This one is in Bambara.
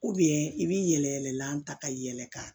i b'i yɛlɛ yɛlɛ la ta ka yɛlɛ ka